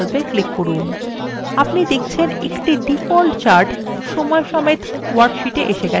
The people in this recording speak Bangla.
আপনি দেখচেন একটি ডিফল্ট chart সময়সমেত ওয়ার্কশীটে এসে গেছে